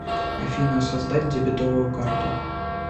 афина создать дебетовую карту